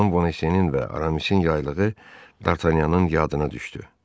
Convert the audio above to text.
Xanım Bonacieux-nin və Aramis'in yaylığı D'Artagnan'ın yadına düşdü.